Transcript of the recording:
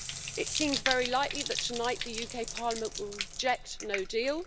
It seems very likely that tonight the UK parliament will reject no deal.